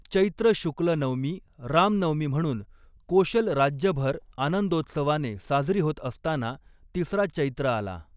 चैत्र शुक्ल नवमी रामनवमी म्हणून कोशल राज्यभर आनंदोत्सवाने साजरी होत असताना तिसरा चैत्र आला.